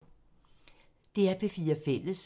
DR P4 Fælles